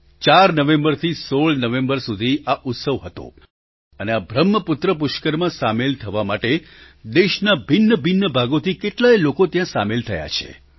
૪ નવેમ્બરથી ૧૬ નવેમ્બર સુધી આ ઉત્સવ હતો અને આ બ્રહ્મપુત્ર પુષ્કરમાં સામેલ થવા માટે દેશના ભિન્નભિન્ન ભાગોથી કેટલાય લોકો ત્યાં સામેલ થયા છે